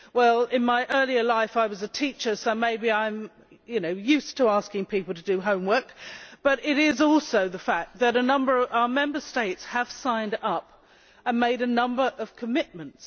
Well, in my earlier life I was a teacher, so maybe I am used to asking people to do homework, but it is also the fact that our Member States have signed up and made a number of commitments.